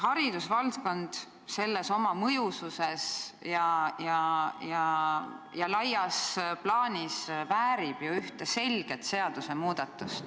Haridusvaldkond kogu oma mõjususes väärib ju ühte selget seadusmuudatust.